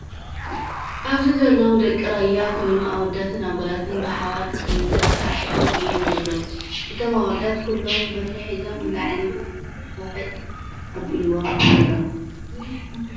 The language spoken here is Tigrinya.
ኣብዚ ዘለው ደቂ ራያ ኮይኖ ኣወዳትን ኣጓላት ብሓባር እነዳሳዕስዑ እዮም ዘለው። እቶም ኣወዳት ኩሉም በትሪ ሒዞም ንላዕሊ ዊጥ ኣቢሎም ኣለው።